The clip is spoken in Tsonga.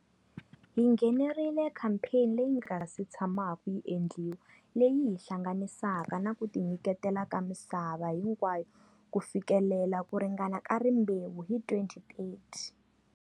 Hi nghenerile khampheni leyi nga se tshamaku yi endliwa leyi yi hi hlanganisaka na kutinyiketela ka misava hinkwayo ku fikelela ku ringana ka rimbewu hi 2030.